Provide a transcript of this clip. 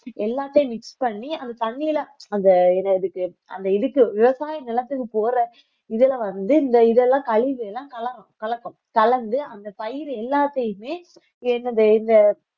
எல்லாத்தையும் mix பண்ணி அந்த தண்ணியில அந்த இதுக்கு அந்த இதுக்கு விவசாய நிலத்துக்கு போற இதுல வந்து இந்த இதெல்லாம் கழிவுகளை எல்லாம் கல~ கலக்கும் கலந்து அந்த பயிர் எல்லாத்தையுமே என்னது இந்த